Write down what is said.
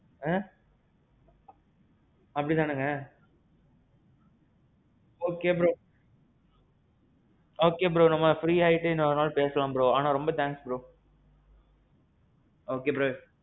ஏ. அப்படி தானேங்க? okay bro. okay bro நம்ம free ஆயிட்டு இன்னொரு நாள் பேசலாம் bro. ஆனான் ரொம்ப thanks bro.